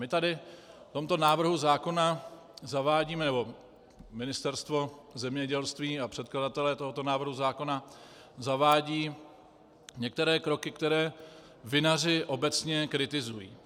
My tady v tomto návrhu zákona zavádíme, nebo Ministerstvo zemědělství a předkladatelé tohoto návrhu zákona zavádějí některé kroky, které vinaři obecně kritizují.